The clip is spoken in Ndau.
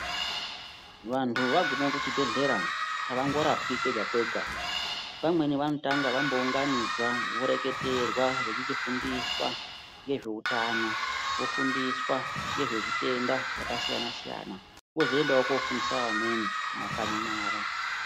Vantu vaguma kuchibhedhlera avangorapwi kwega kwega pamweni vanotanga vambounganidzwa vechireketerwa voreketerwa vachichifundiswa ngezveutano vechifundiswa ngezvezvitenda zvakasiyana siyana vozoendawo kofundisa vamweni mumakanyi mwavo.